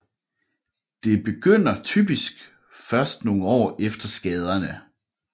Det begynder typisk først nogle år efter skaderne